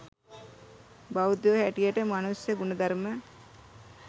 බෞද්ධයෝ හැටියට මනුෂ්‍ය ගුණධර්ම